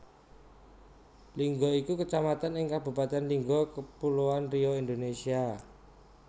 Lingga iku Kecamatan ing Kabupatèn Lingga Kapuloan Riau Indonesia